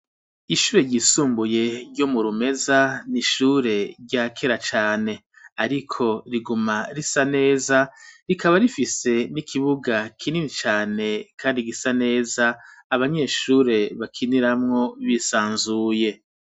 Ishure ryisumbuye ryo mu Rumeza n'ishure ryakera cane ariko riguma risa neza rikaba rifise n'ikibuga kinini cane kandi gisa neza abanyeshure bakiniramwo bisanzuye.